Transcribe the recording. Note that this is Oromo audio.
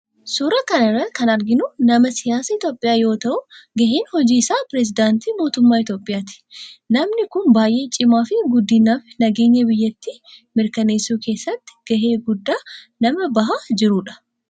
Suuraa kana irratti kan arginu nama siyaasaa itiyoophiyaa yoo ta'u gaheen hojii isaa perisidaantii mootummaa itiyoophiyaatii. Namni kun baayyee cimaa fi guddina fi nageenya biyyattii mirkanessuu keessatti gahee guddaa nama bahaa jirudha.